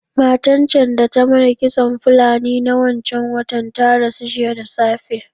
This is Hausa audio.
Matan can da ta mana kitson Fulani na wancan watan ta rasu jiya da safe.